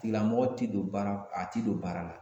Tigilamɔgɔ ti don baara a ti don baara la